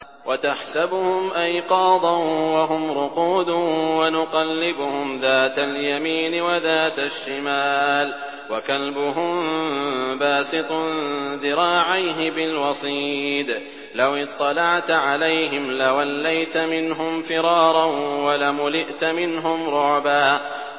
وَتَحْسَبُهُمْ أَيْقَاظًا وَهُمْ رُقُودٌ ۚ وَنُقَلِّبُهُمْ ذَاتَ الْيَمِينِ وَذَاتَ الشِّمَالِ ۖ وَكَلْبُهُم بَاسِطٌ ذِرَاعَيْهِ بِالْوَصِيدِ ۚ لَوِ اطَّلَعْتَ عَلَيْهِمْ لَوَلَّيْتَ مِنْهُمْ فِرَارًا وَلَمُلِئْتَ مِنْهُمْ رُعْبًا